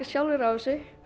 sjálfir á þessu